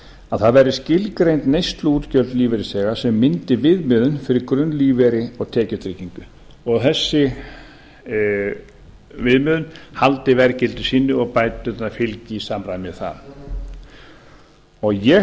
að það verði skilgreind neysluútgjöld lífeyrisþega sem myndi viðmiðun fyrir grunnlífeyri og tekjutryggingu og að þessi viðmiðun haldi verðgildi sínu og bæturnar fylgi í samræmi við það ég